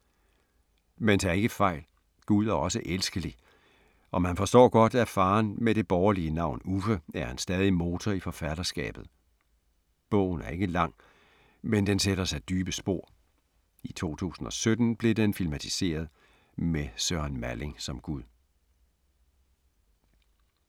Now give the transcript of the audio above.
Men tag ikke fejl. Gud er også elskelig og man forstår godt, at faderen med det borgerlige navn Uffe er en stadig motor i forfatterskabet. Bogen er ikke lang, men den sætter sig dybe spor. I 2017 blev den filmatiseret med Søren Malling som Gud.